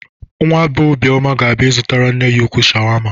Nwa bee Obioma ga-abịa ịzụtara nne ya ukwuu shawama.